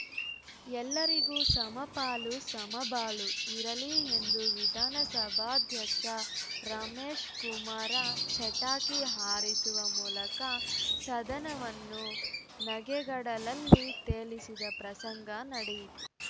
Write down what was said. ಎಲ್ಲರಿಗೂ ಸಮಪಾಲುಸಮಬಾಳು ಇರಲಿ ಎಂದು ವಿಧಾನಸಭಾಧ್ಯಕ್ಷ ರಮೇಶ್‌ ಕುಮಾರ ಚಟಾಕಿ ಹಾರಿಸುವ ಮೂಲಕ ಸದನವನ್ನು ನಗೆಗಡಲಲ್ಲಿ ತೇಲಿಸಿದ ಪ್ರಸಂಗ ನಡೆಯಿತು